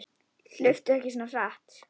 Hlauptu ekki svona hratt.